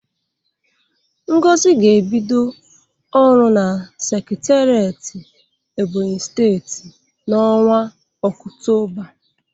Ngozi ga-ebido ọrụ na sekiteret Ebonyi steeti n'ọnwa ọktoba.